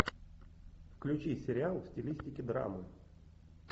включи сериал в стилистике драмы